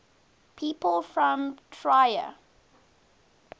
people from trier